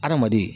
Adamaden